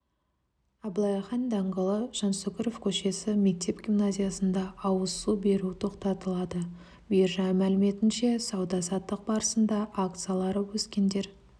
абылай хан даңғылы жансүгіров көшесі мектеп-гимназиясында ауыз су беру тоқтатылады биржа мәліметінше сауда-саттық барысында акциялары өскендер